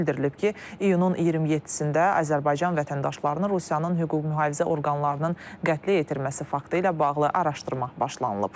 Bildirilib ki, iyunun 27-də Azərbaycan vətəndaşlarının Rusiyanın hüquq mühafizə orqanlarının qətlə yetirməsi faktı ilə bağlı araşdırma başlanılıb.